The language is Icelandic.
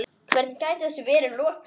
Hvernig gæti þessu verið lokið?